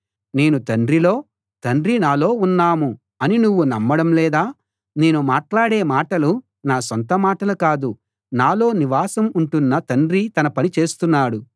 నేను తండ్రిలో తండ్రి నాలో ఉన్నాం అని నువ్వు నమ్మడం లేదా నేను మాట్లాడే మాటలు నా సొంత మాటలు కాదు నాలో నివాసం ఉంటున్న తండ్రి తన పని చేస్తున్నాడు